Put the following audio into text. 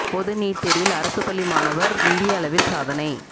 பொது நீட் தேர்வில் அரசு பள்ளி மாணவர் இந்திய அளவில் சாதனை